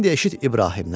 İndi eşit İbrahimdən.